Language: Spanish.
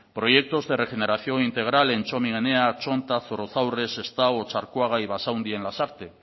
proyectos de regeneración integral en txomin enea txonta zorrozaurre sestao otxarkoaga y basaundi en lasarte